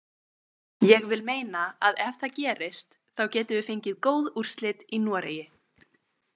Ég vil meina að ef það gerist þá getum við fengið góð úrslit í Noregi.